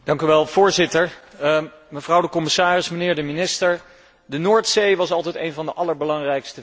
Mevrouw de commissaris, mijnheer de minister, de Noordzee was altijd een van de allerbelangrijkste visgronden van Europa.